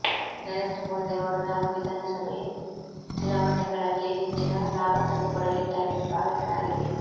ನರೇಂದ್ರ ಮೋದಿ ಅವರು ನಾಲ್ಕು ವಿಧಾನಸಭೆೆ ಚುನಾವಣೆೆಗಳಲ್ಲಿ ಹೆಚ್ಚಿನ ಲಾಭತಂದುಕೊಡಲಿದ್ದಾರೆ ಎಂದು ಭಾವಿಸಲಾಗಿದೆ